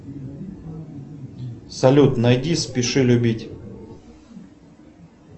салют найди спеши любить